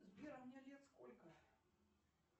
сбер а мне лет сколько